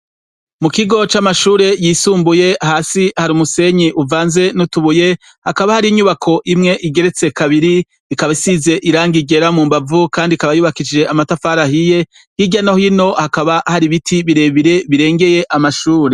Mu kigo c'amashure yisumbuye ,hasi hari umusenyi uvanze n'utubuye ,hakaba hari inyubako imwe igeretse kabiri ikaba isize irangi ryera mu mbavu Kandi ikaba yubakishije amatafari ahiye ,hirya no hino hakaba hari ibiti birebire birengeye amashure.